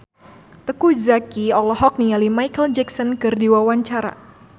Teuku Zacky olohok ningali Micheal Jackson keur diwawancara